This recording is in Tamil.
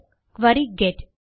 query get